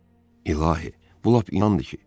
İlahi, bu lap inandı ki.